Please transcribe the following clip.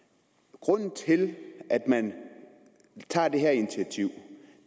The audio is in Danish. det grunden til at man tager det her initiativ